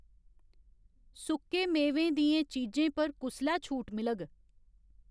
सुक्के मेवें दियें चीजें पर कुसलै छूट मिलग